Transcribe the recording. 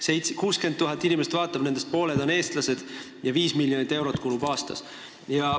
Seda vaatab 60 000 inimest, kellest pooled on eestlased, ja sellele kulub 5 miljonit eurot aastas.